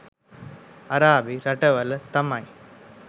අරාබි රටවල තමයි